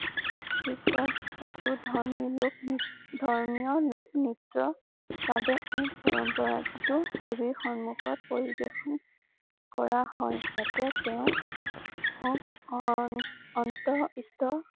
পাছত এইটো ধৰ্মী লোক ধৰ্মীয় লোক নিত্য বাবে এক পৰম্পৰা যিটো দেৱীৰ সন্মুখত পৰিবেশন কৰা হয়। যাতে তেওঁক অণঅন্ত ইতস্ত